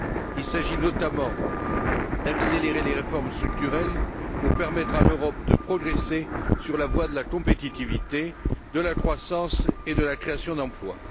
Il s'agit notamment d'accélérer les réformes structurelles pour permettre à l'Europe de progresser sur la voie de la compétitivité, de la croissance et de la création d'emplois.